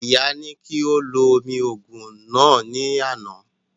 Ìyá ní kí ó lo omi òògùn náà ní àná